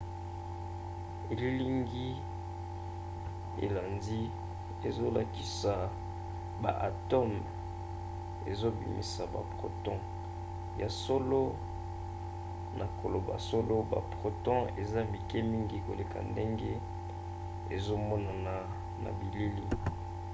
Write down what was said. elilingi elandi ezolakisa ba atome ezobimisa ba proton. ya solo na koloba solo ba proton eza mike mingi koleka ndenge ezomonana na bilili